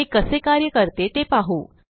हे कसे कार्य करते ते पाहू